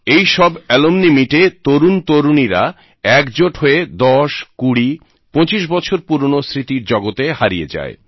এই সব অ্যালমনি মিটে তরুণ তরুণীরা একজোট হয়ে দশ কুড়ি পঁচিশ বছর পুরোনো স্মৃতির জগতে হারিয়ে যায়